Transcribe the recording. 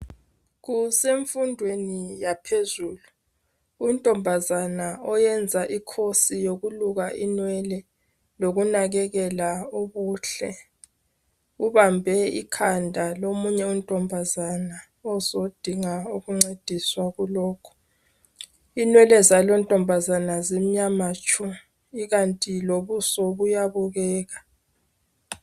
Kusemfundweni yaphezulu .Untombazana oyenza i course yokuluka inwele lokunakelela ubuhle . Ubambe ikhanda lomunye untombazana ozodinga ukuncediswa kulokho .Inwele zaluntombazana zimnyama tshu .Ikanti lobuso buyabukeka.